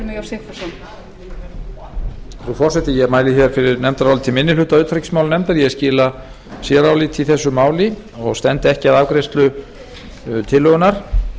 frú forseti ég mæli hér fyrir nefndaráliti minni hluta utanríkismálanefndar ég skila séráliti í þessu máli og stend ekki að afgreiðslu tillögunnar